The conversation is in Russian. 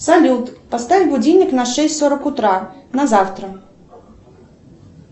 салют поставь будильник на шесть сорок утра на завтра